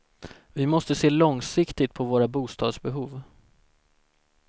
Vi måste se långsiktigt på våra bostadsbehov.